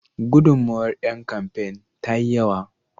Gudunmawar don kamfain ta yi yawa.